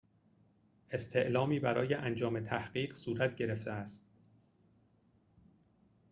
استعلامی برای انجام تحقیق صورت گرفته است